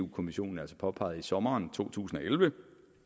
kommissionen altså påpegede i sommeren to tusind og elleve